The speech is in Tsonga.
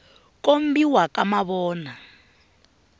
kombiwa ka mavona